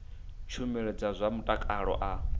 tshumelo dza zwa mutakalo a